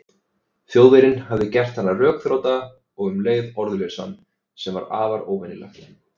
Þjóðverjinn hafði gert hann rökþrota og um leið orðlausan, sem var afar óvenjulegt.